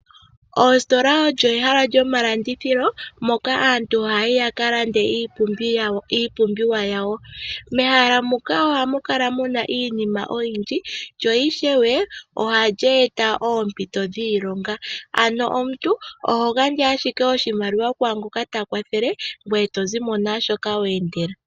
Oositola olyo ehala lyomalandithilo moka aantu haya yi ya kalande iipumbiwa yawo. Mehala muka ohamu kala mu na iinima oyindji lyo ohali eta oompito dhiilonga ano omuntu oho gandja owala oshimaliwa kwaa ngoka ta kwathele ngoye to zi mo naa shoka weendela.